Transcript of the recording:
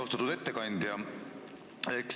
Austatud ettekandja!